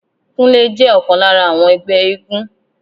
Kúnlé jẹ́ ọ̀kan lára àwọn ẹgbẹ́ éégún